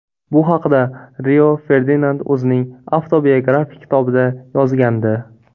Bu haqida Rio Ferdinand o‘zining avtobiografik kitobida yozgandi.